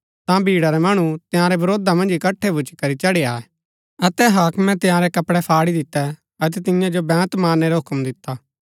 ता भीड़ा रै मणु तंयारै वरोधा मन्ज इकट्ठै भूच्ची करी चढ़ी आये अतै हाक्मे तंयारै कपड़ै फाड़ी दितै अतै तियां जो बेंत मारनै रा हूक्म दिता